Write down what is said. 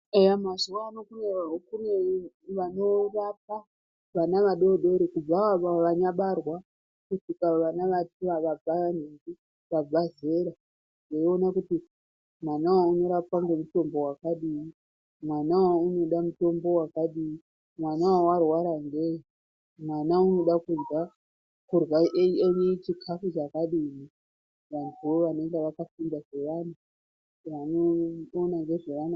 Eya , mazuano kune vanorapa vana vadodori kubva avo vanyabarwa kusvika vana vabva nhingi, vabvezera, veiona kuti mwanawo unorapwa ngemutombo wakadini, mwanawoo unodamutombo wakadini , mwanawo warwara ngei, mwana unoda kurya a/eni chikafu chakadini, vanhuvo vanege vakafunda zvevana.